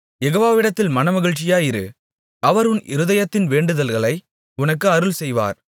யெகோவாவிடத்தில் மனமகிழ்ச்சியாயிரு அவர் உன் இருதயத்தின் வேண்டுதல்களை உனக்கு அருள்செய்வார்